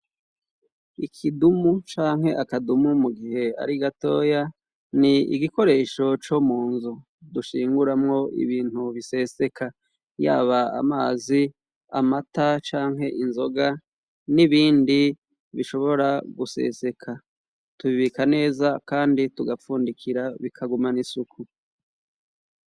Ikidumu canke akadumu mu gihe ari gatoya ni igikoresho co munzu dushinguramwo ibintu biseseka yaba amazi, amata canke inzoga n'ibindi bishobora guseseka tubibika neza kandi tugapfundikira bikagumana isuku.